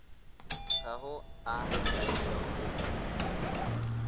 ga go a laetšwa go